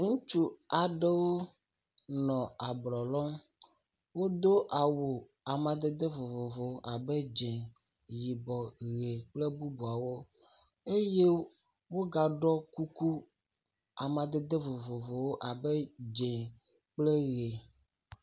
Ŋutsu aɖewo nɔ ablɔ lɔm. Wodo awu amadede vovovowo abe dze, yibɔ, ʋi kple bubuawo eye wogaɖɔ kuku amadede vovovowo abe dze kple ʋi.